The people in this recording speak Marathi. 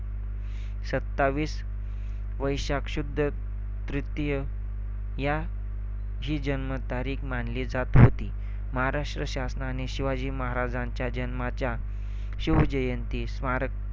सत्तावीस वैशाख शुद्ध तृतीया यह ही जन्मतारीख मानली जात होती. महाराष्ट्र शासनाने शिवाजी महाराजांच्या जन्माच्या शिव जयंती स्मारक